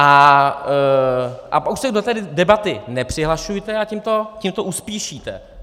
A už se do té debaty nepřihlašujte a tím to uspíšíte.